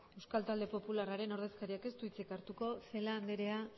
euskal talde popularraren ordezkariak ez du hitzik hartuko celaá anderea